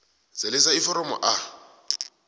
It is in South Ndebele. zalisa iforomo a